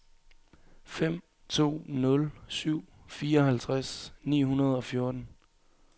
fem to nul syv fireoghalvtreds ni hundrede og fjorten